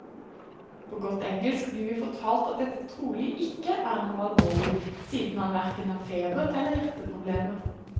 På godt engelsk blir vi fortalt at dette trolig ikke er noe alvorlig, siden han hverken har feber eller hjerteproblemer.